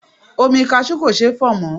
Omi kasú kò ṣeé fọ̀ mọ́.